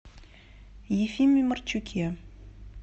ефиме марчуке